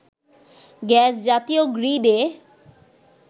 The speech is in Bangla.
গ্যাস জাতীয় গ্রীডে